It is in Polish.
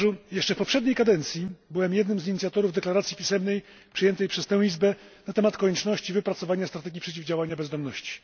Jeszcze w poprzedniej kadencji byłem jednym z inicjatorów deklaracji pisemnej przyjętej przez tę Izbę na temat konieczności wypracowania strategii przeciwdziałania bezdomności.